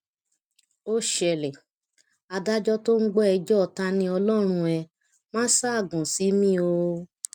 ó ṣẹlẹ adájọ tó ń gbọ ẹjọ taniọlọrun ẹ máa ṣaágùn sí mi o